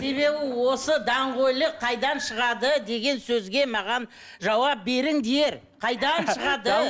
себебі осы даңғойлық қайдан шығады деген сөзге маған жауап беріңдер қайдан шығады